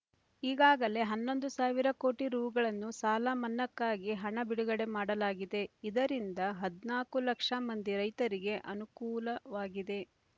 ಈಗಾಗಲೇ ಹನ್ನೊಂದು ಸಾವಿರ ಕೋಟಿ ರೂ ಗಳನ್ನು ಸಾಲಮನ್ನಾಕ್ಕಾಗಿ ಹಣ ಬಿಡುಗಡೆ ಮಾಡಲಾಗಿದೆ ಇದರಿಂದ ಹದ್ನಾಕು ಲಕ್ಷ ಮಂದಿ ರೈತರಿಗೆ ಅನುಕೂಲವಾಗಿದೆ